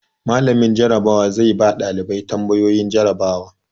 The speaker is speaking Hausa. Mallamin Jarabawa zai ba ɗalibai tambayoyi jarabawa.